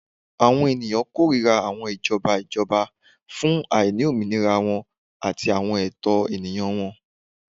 Awọn eniyan korira awọn ijọba ijọba fun aini ominira wọn ati awọn ẹtọ eniyan wọn